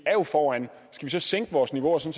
skal vi så sænke vores niveau så